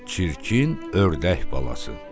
Çirkin ördək balası.